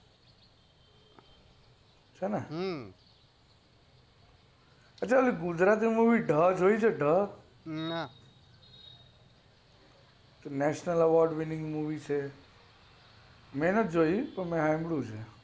છે ને ગુજરાતી માં તું ઢ movie જોયી છે national award winnig movie છે મેં નથી જોયી મેં સાંભળી છે